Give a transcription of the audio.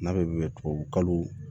N'a bɛ tubabukalo